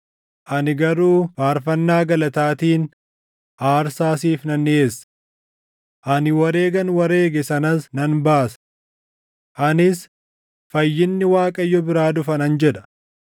Ani garuu faarfannaa galataatiin aarsaa siif nan dhiʼeessa. Ani wareegan wareege sanas nan baasa. Anis, ‘Fayyinni Waaqayyo biraa dhufa’ ” nan jedha.